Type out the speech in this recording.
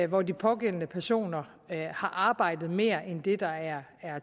hvor de pågældende personer har arbejdet mere end det der er